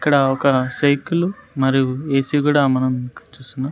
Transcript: ఇక్కడ ఒక సైకిలు మరియు ఏ సీ కూడా మనం ఇక్కడ చూస్తున్నాం.